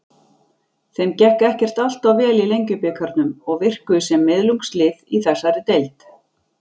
Þeim gekk ekkert alltof vel í Lengjubikarnum og virkuðu sem miðlungslið í þessari deild.